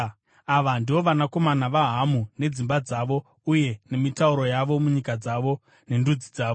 Ava ndivo vanakomana vaHamu nedzimba dzavo uye nemitauro yavo, munyika dzavo nendudzi dzavo.